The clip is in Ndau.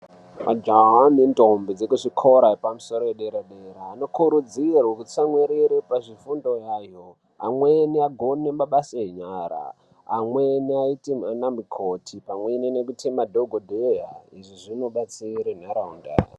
Jaha nendombi dzekuzvikoro zvepamusoro edera dera anokurudzirwe kutsamwirire pazvifundo yayo amweni agone mabasa enyara amweni aite ana mukoti pamweni nekuite madhokodheya izvi zvinobatsire nharaunda.